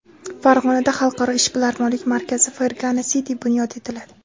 Farg‘onada xalqaro ishbilarmonlik markazi Fergana City bunyod etiladi.